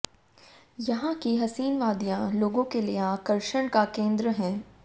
यहां की हसीन वादियां लोगों के लिए आकर्षण का केंद्र है